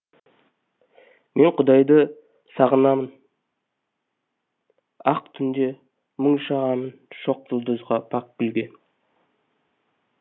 мен құдайды сағынамын ақ түнде мұң шағамын шоқ жұлдызға пәк гүлге